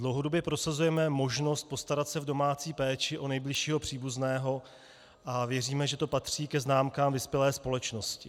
Dlouhodobě prosazujeme možnost postarat se v domácí péči o nejbližšího příbuzného a věříme, že to patří ke známkám vyspělé společnosti.